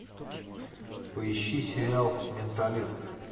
поищи сериал менталист